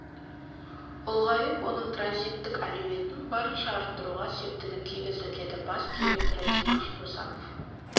ұлғайып оның транзиттік әлеуетін барынша арттыруға септігін тигізді деді бас директоры димаш досанов